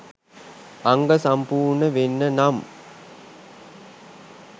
අංග සම්පූර්ණ වෙන්න නම්